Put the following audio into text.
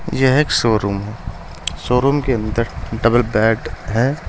यह एक showroom showroom के अंदर डबल बेड है।